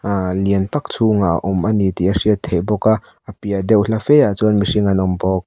liantak chhungah a awm ani tih a hriat theih bawk a a paihdeuh hla fe ah chuan mirhing an awmbawk.